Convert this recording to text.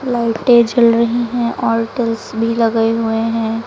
लाइटें जल रही हैं और भी लगे हुए हैं।